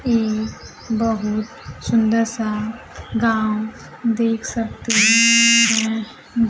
ये बहुत सुंदर सा गांव देख सकते हैं।